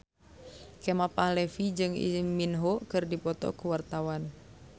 Kemal Palevi jeung Lee Min Ho keur dipoto ku wartawan